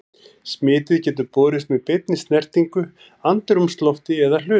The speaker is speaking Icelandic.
Smitið getur borist með beinni snertingu, andrúmslofti eða hlutum.